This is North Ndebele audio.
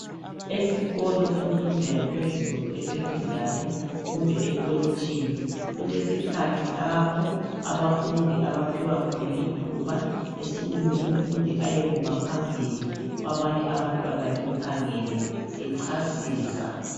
Esikolo semfundo yaphezulu esecondary kumbe ekolitshini kulesikhathi lapho abafundi abaphiwa khona ithuba esukume umfundi ayekuma phambili kwabanye abantwana bemkhangele echasisa.